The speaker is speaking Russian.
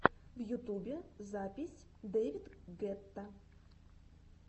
в ютубе запись дэвид гетта